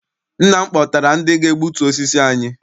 Nna m kpọtara ndị ga-egbutu osisi anyị.